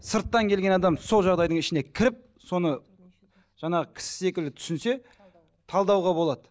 сырттан келген адам сол жағдайдың ішіне кіріп соны жаңағы кісі секілді түсінсе талдауға болады